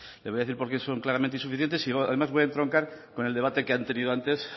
le voy a decir por qué son claramente insuficientes y además voy a entroncar con el debate que han tenido antes